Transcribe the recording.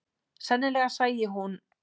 Sennilega sæi hún